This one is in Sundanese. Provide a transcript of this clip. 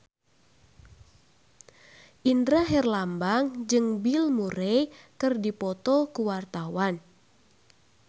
Indra Herlambang jeung Bill Murray keur dipoto ku wartawan